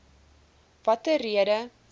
watter rede